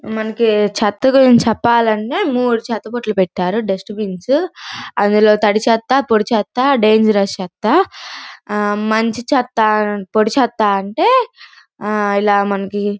మనకి చెత్త గురించి చెప్పాలంటే మూడు చెత్త బుట్టలు పెట్టారు దుష్టబిన్స్ అందులో తడి చెత్త పొడి చెత్త డాంజరౌస్ చెత్త మంచి చెత్త పొడి చెత్త అంటే ఇలా మనకి--